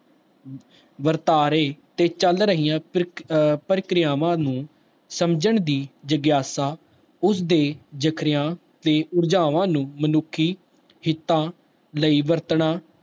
ਵਰਤਾਰੇ ਤੇ ਚੱਲ ਰਹੀਆਂ ਪ੍ਰਕਿ ਅਹ ਪ੍ਰਕਿਰਿਆਵਾਂ ਨੂੰ ਸਮਝਣ ਦੀ ਜਗਿਆਸਾ ਉਸਦੇ ਜਕਰਿਆਂ ਤੇ ਊਰਜਾਵਾਂ ਨੂੰ ਮਨੁੱਖੀ ਹਿੱਤਾਂ ਲਈ ਵਰਤਣਾ